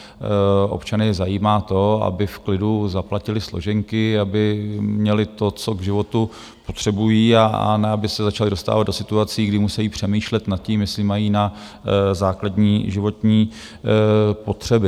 Občany zajímá to, aby v klidu zaplatili složenky, aby měli to, co k životu potřebují, a ne aby se začali dostávat do situací, kdy musejí přemýšlet nad tím, jestli mají na základní životní potřeby.